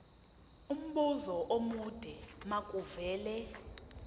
umbuzo omude makuvele